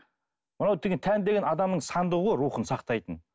мынау деген тән деген адамның сандығы ғой рухын сақтайтын